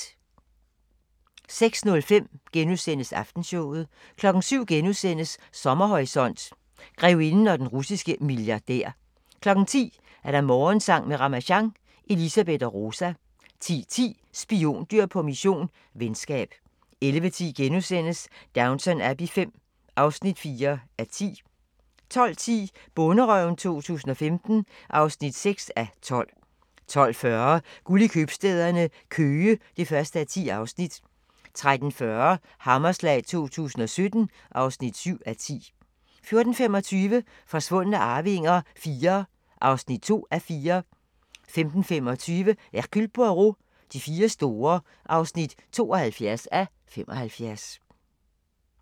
06:05: Aftenshowet * 07:00: Sommerhorisont: Grevinden og den russiske milliardær * 10:00: Morgensang med Ramasjang | Elisabeth og Rosa 10:10: Spiondyr på mission – venskab 11:10: Downton Abbey V (4:10)* 12:10: Bonderøven 2015 (6:12) 12:40: Guld i købstæderne – Køge (1:10) 13:40: Hammerslag 2017 (7:10) 14:25: Forsvundne arvinger IV (2:4) 15:25: Hercule Poirot: De fire store (72:75)